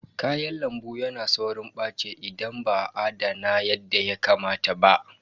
Kayan lambu yana saurin ɓaci idan ba a adana yadda ya kamata ba.